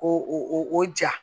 Ko o ja